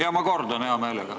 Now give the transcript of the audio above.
Jah, ma kordan hea meelega.